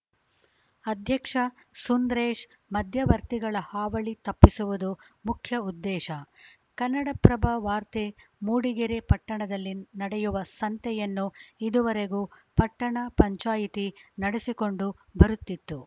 ಅಧ್ಯಕ್ಷ ಸುಂದ್ರೇಶ್‌ ಮಧ್ಯವರ್ತಿಗಳ ಹಾವಳಿ ತಪ್ಪಿಸುವುದು ಮುಖ್ಯ ಉದ್ದೇಶ ಕನ್ನಡಪ್ರಭ ವಾರ್ತೆ ಮೂಡಿಗೆರೆ ಪಟ್ಟಣದಲ್ಲಿ ನಡೆಯುವ ಸಂತೆಯನ್ನು ಇದುವರೆಗೂ ಪಟ್ಟಣ ಪಂಚಾಯಿತಿ ನಡೆಸಿಕೊಂಡು ಬರುತ್ತಿತ್ತು